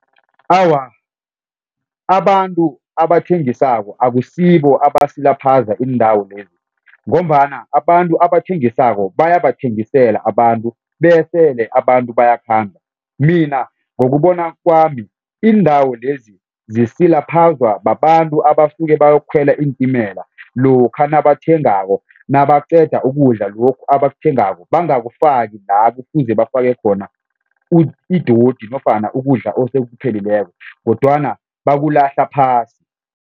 Awa, abantu abathengisako akusibo abasilaphaza iindawo lezi ngombana abantu abathengisako bayabathengisela abantu besele abantu bayakhamba mina ngokubona kwami iindawo lezi zisilaphazwa babantu abasuke bayokukhwela iintimela lokha nabathengako nabaqeda ukudla lokhu abakuthengako bangakufaki la kufuze bafake khona idodi nofana ukudla osekuphelileko kodwana bakulahla phasi.